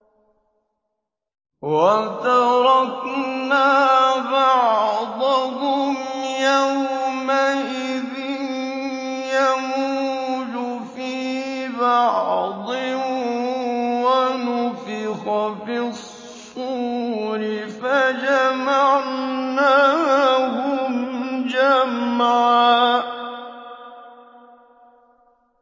۞ وَتَرَكْنَا بَعْضَهُمْ يَوْمَئِذٍ يَمُوجُ فِي بَعْضٍ ۖ وَنُفِخَ فِي الصُّورِ فَجَمَعْنَاهُمْ جَمْعًا